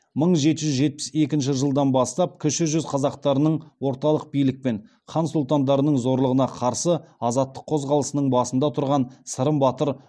мың жеті жүз жетпіс екінші жылдан бастап кіші жүз қазақтарының отарлық билік пен хан сұлтандардың зорлығына қарсы азаттық қозғалысының басында тұрған сырым батыр